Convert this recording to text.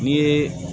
N'i ye